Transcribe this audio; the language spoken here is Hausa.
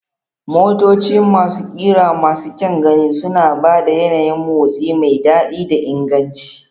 Motoci masu ƙira masu kyan gani suna ba da yanayin motsi mai daɗi da inganci.